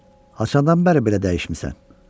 Həsəni bərbər belə dəyişmisən?